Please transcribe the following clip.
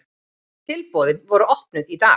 Tilboðin voru opnuð í dag.